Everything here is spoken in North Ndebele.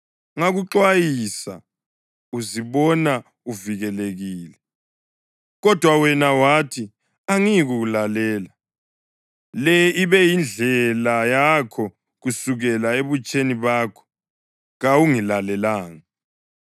Ngakuxwayisa uzibona uvikelekile, kodwa wena wathi, ‘Angiyikulalela!’ Le ibe iyindlela yakho kusukela ebutsheni bakho; kawungilalelanga.